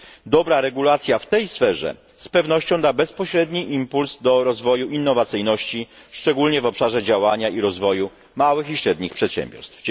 Dobra regulacja w tej sferze z pewnością da bezpośredni impuls do rozwoju innowacyjności, szczególnie w obszarze działania i rozwoju małych i średnich przedsiębiorstw.